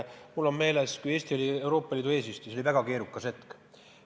Mul on meeles, et kui Eesti oli Euroopa Liidu eesistuja, siis oli väga keeruline hetk.